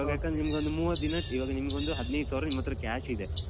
ಇವಾಗ ಯಾಕಂದ್ರೆ ನಿಮ್ಗೊಂದು ಮೂವತ್ ದಿನದ್ದು ಇವಾಗ ನಿಮ್ಗೊಂದು ಹದ್ನೈದು ಸಾವ್ರ ನಿಮ್ಮತ್ರ cash ಇದೆ.